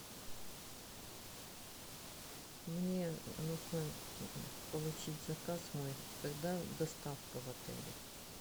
мне нужно получить заказ мой когда доставка в отеле